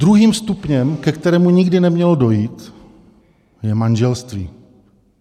Druhým stupněm, ke kterému nikdy nemělo dojít, je manželství.